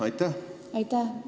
Aitäh!